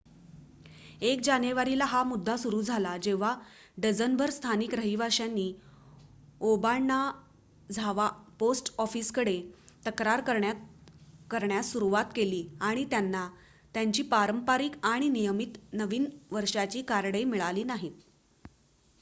1 जानेवारीला हा मुद्दा सुरू झाला जेव्हा डझनभर स्थानिक रहिवाशांनी ओबाणाझावा पोस्ट ऑफिसकडे तक्रार करण्यास सुरूवात केली की त्यांना त्यांची पारंपारिक आणि नियमित नवीन वर्षाची कार्डे मिळाली नाहीत